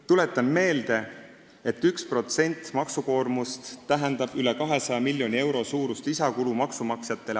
Tuletan meelde, et 1% maksukoormuse tõusu tähendab maksumaksjatele aastas üle 200 miljoni euro suurust lisakulu.